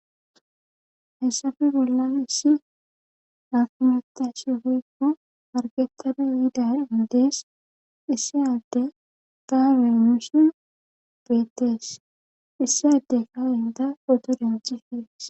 Hayssafe bollan issi afmatashi hoykko argetane yiida indees issi adde gaabemish beettees issi adde ka inda ododenci hees